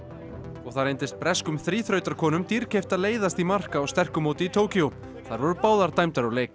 og það reyndist breskum dýrkeypt að leiðast í mark á sterku móti í Tókýó þær voru báðar dæmdar úr leik